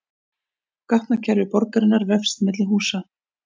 Gatnakerfi borgarinnar vefst milli húsa